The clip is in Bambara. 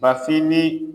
Bafin ni